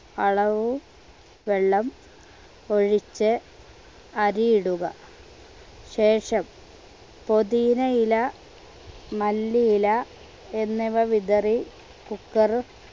അളവു വെള്ളം ഒഴിച്ച് അരിയിടുക ശേഷം പുതിനയില മല്ലിയില എന്നിവ വിതറി cooker